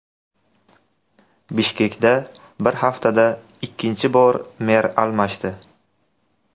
Bishkekda bir haftada ikkinchi bor mer almashdi.